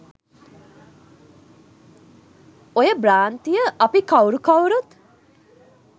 ඔය භ්‍රාන්තිය අපි කවුරු කවුරුත්